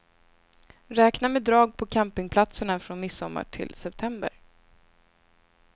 Räkna med drag på campingplatserna från midsommar till september.